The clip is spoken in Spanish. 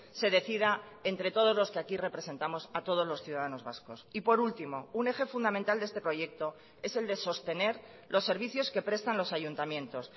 se decida entre todos los que aquí representamos a todos los ciudadanos vascos y por último un eje fundamental de este proyecto es el de sostener los servicios que prestan los ayuntamientos